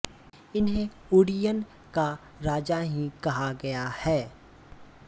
इन्हें उड्डीयन का राजा ही कहा गया है